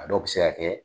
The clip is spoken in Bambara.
A dɔw bɛ se ka kɛ